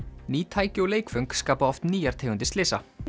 ný tæki og leikföng skapa oft nýjar tegundir slysa